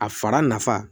A fara nafa